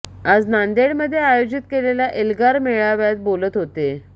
आज नांदेडमध्ये आयोजित केलेल्या एल्गार मेळाव्यात बोलत होते